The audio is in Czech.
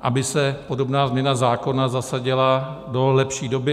aby se podobná změna zákona zasadila do lepší doby.